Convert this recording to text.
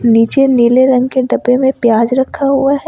नीचे नीले रंग के डब्बे में प्याज रखा हुआ है।